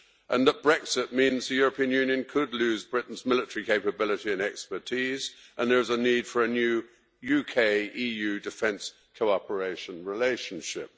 and that Brexit means the European Union could lose Britain's military capability and expertise and there is a need for a new UK EU defence cooperation relationship.